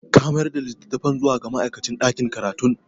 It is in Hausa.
Ka mayar da litattafan zuwa ga ma'aikacin ɗakin karatun?